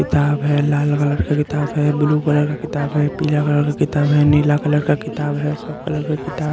किताब है लाल कलर का किताब है ब्लू कलर का किताब है पिला कलर का किताब है नीला कलर का किताब है सब कलर का किताब --